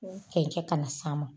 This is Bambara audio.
Cɛncɛn ka na s'a ma.